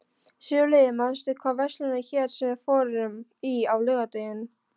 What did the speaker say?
Sigurliði, manstu hvað verslunin hét sem við fórum í á laugardaginn?